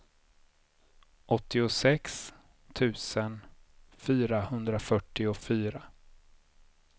åttiosex tusen fyrahundrafyrtiofyra